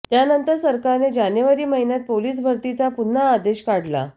त्यानंतर सरकारने जानेवारी महिन्यात पोलीस भरतीचा पुन्हा आदेश काढला